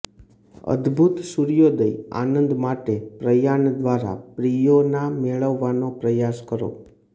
અદભૂત સૂર્યોદય આનંદ માટે પ્રયાન દ્વારા પ્રિયોના મેળવવાનો પ્રયાસ કરો